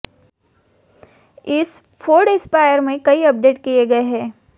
इस Ford Aspire में कई अपडेट किये गए हैं